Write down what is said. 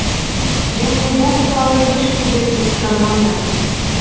және бұл туралы ешкімге тыс жармаңдар